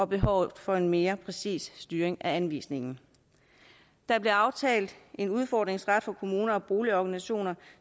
behovet for en mere præcis styring af anvisningen der blev aftalt en udfordringsret for kommuner og boligorganisationer